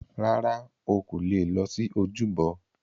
Rárá,o kò leè lọ sí ojúbọ.